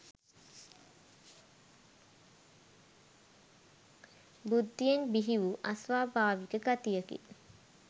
බුද්ධියෙන් බිහිවූ අස්වාභාවික ගතියකි